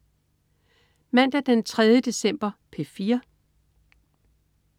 Mandag den 3. december - P4: